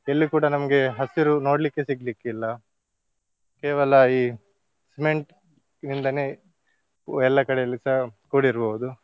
ಎಲ್ಲಿ ಕೂಡ ನಮ್ಗೆ ಹಸಿರು ನೋಡ್ಲಿಕ್ಕೆ ಸಿಗ್ಲಿಕ್ಕಿಲ್ಲ ಕೇವಲ ಈ cement ನಿಂದನೇ ಎಲ್ಲಾ ಕಡೆಯಲ್ಲಿಸ ಕೂಡಿರ್ಬೋದು.